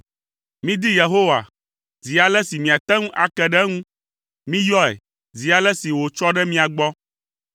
Midi Yehowa zi ale si miate ŋu ake ɖe eŋu. Miyɔe zi ale si wòtsɔ ɖe mia gbɔ.